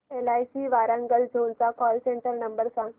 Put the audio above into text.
LIC Warangal zone चा call centre number सांग